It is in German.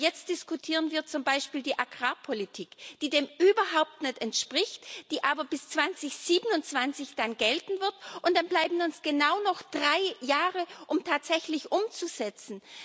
Aber jetzt diskutieren wir zum Beispiel die Agrarpolitik, die dem überhaupt nicht entspricht, die aber bis 2027 gelten wird, und dann bleiben uns genau noch drei Jahre, um tatsächlich umzusetzen.